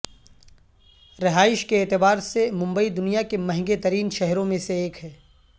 رہائش کے اعتبار سے ممبئی دنیا کے مہنگے ترین شہروں میں سے ایک ہے